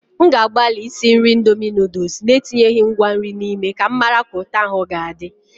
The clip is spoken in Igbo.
M ga-agbalị isi nri indomie noodles na-etinyeghị ngwa nri n'ime ka m mara ka ụtọ ahụ ga-adị.